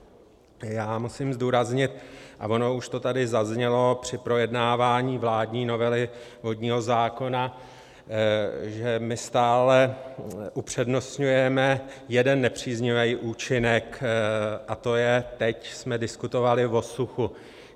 Já musím zdůraznit, a ono už to tady zaznělo při projednávání vládní novely vodního zákona, že my stále upřednostňujeme jeden nepříznivý účinek, a to je - teď jsme diskutovali o suchu.